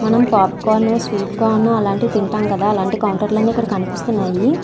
మనం popcorn sweet corn అలాంటివి తింటాం కదా అలాంటి కౌంటర్ లన్నీ ఇక్కడ కనిపిస్తున్నాయి.